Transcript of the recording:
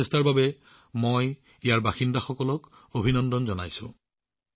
এই প্ৰচেষ্টাৰ বাবে মই তাত থকা লোকসকলক অভিনন্দন জনাইছো